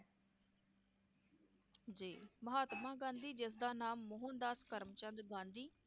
ਜੀ ਮਹਾਤਮਾ ਗਾਂਧੀ ਜਿਸ ਦਾ ਨਾਮ ਮੋਹਨਦਾਸ ਕਰਮਚੰਦ ਗਾਂਧੀ